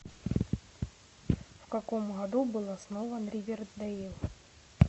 в каком году был основан ривердейл